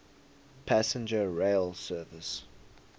passenger rail service